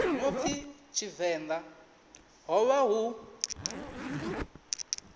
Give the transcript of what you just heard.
no pfi tshivenḓa hovha hu